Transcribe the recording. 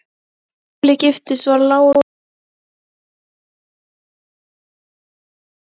Þegar Sóley giftist var lára látin fyrir rúmum tveimur árum.